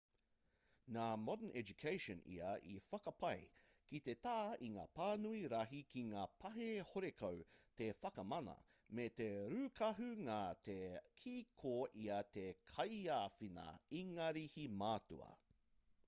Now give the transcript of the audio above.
nā modern education ia i whakapae ki te tā i ngā pānui rahi ki ngā pahi horekau te whakamana me te rūkahu nā te kī ko ia te kaiāwhina ingarihi matua